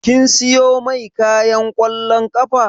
Kin siyo mai kayan ƙwallon ƙafa